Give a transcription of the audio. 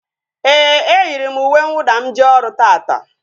Éè, e yiri m uwe nwụda m jee ọrụ taata